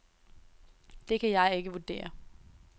Det kan jeg ikke vurdere.